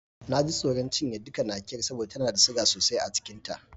Na ji tsoron cinye duka Nakiyar saboda tana da siga sosai a cikin ta.